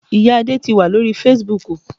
Ìya Adé ti wà lórí Fasibúùkù